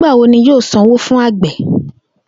Nigbawo ni yoo san owo fun awọn agbe?